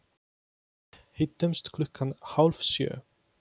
Hittumst klukkan hálf sjö.